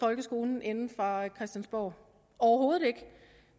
folkeskolen inde fra christiansborg overhovedet ikke